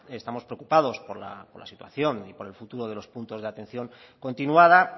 estamos preocupados por la situación y por el futuro de los puntos de atención continuada